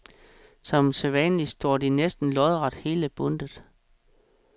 Som sædvanlig står de næsten lodret hele bundtet.